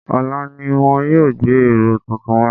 Ọ̀la ni wọ́n yóò gbé ẹ̀rọ tuntun wá